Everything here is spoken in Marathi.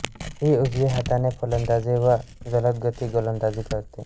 ही उजव्या हाताने फलंदाजी व जलदगती गोलंदाजी करते